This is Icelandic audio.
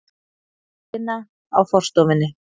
ina á forstofunni.